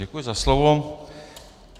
Děkuji za slovo.